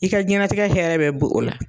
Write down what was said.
I ka jiyɛn latigɛ hɛrɛ bɛɛ bo o la.